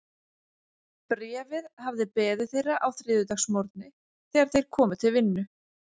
Bréfið hafði beðið þeirra á þriðjudagsmorgni, þegar þeir komu til vinnu.